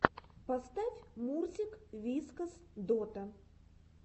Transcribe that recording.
поставь мурзик вискас дота